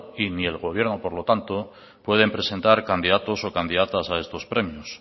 y ni el gobierno por lo tanto pueden presentar candidatos o candidatas a estos premios